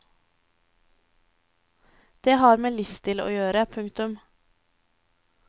Det har med livsstil å gjøre. punktum